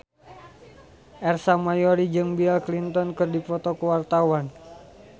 Ersa Mayori jeung Bill Clinton keur dipoto ku wartawan